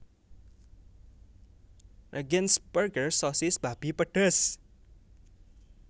Regensburger sosis babi pedes